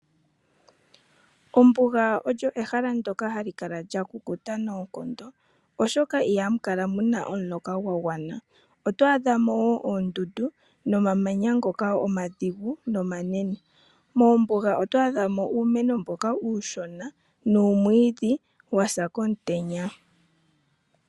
Ombuga olyo ehala ndoka hali kala lya kukuta noonkondo, oshoka ihamu kala muna omuloka gwa gwana. Oto adhamo wo oondundu nomamanya ngoka omadhigu nomanene. Mombuga oto adhamo uumeno mboka uushona nuumwiidhi wa sa komutenya.